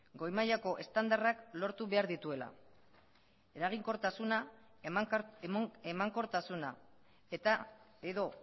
goi mailako estandarrak lortu behar dituela eraginkortasuna emankortasuna eta edo